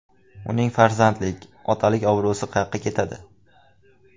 Uning farzandlik, otalik obro‘si qayoqqa ketadi?